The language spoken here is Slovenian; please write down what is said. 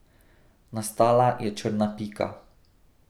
Nastala je črna pika.